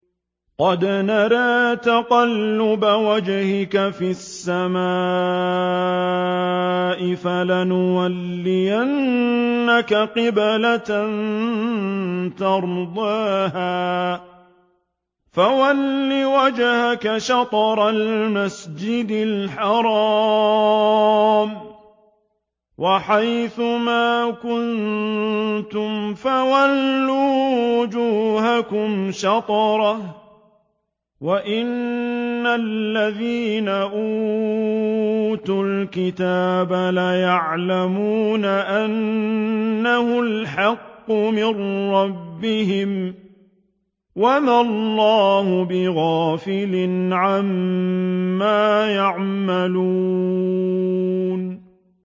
قَدْ نَرَىٰ تَقَلُّبَ وَجْهِكَ فِي السَّمَاءِ ۖ فَلَنُوَلِّيَنَّكَ قِبْلَةً تَرْضَاهَا ۚ فَوَلِّ وَجْهَكَ شَطْرَ الْمَسْجِدِ الْحَرَامِ ۚ وَحَيْثُ مَا كُنتُمْ فَوَلُّوا وُجُوهَكُمْ شَطْرَهُ ۗ وَإِنَّ الَّذِينَ أُوتُوا الْكِتَابَ لَيَعْلَمُونَ أَنَّهُ الْحَقُّ مِن رَّبِّهِمْ ۗ وَمَا اللَّهُ بِغَافِلٍ عَمَّا يَعْمَلُونَ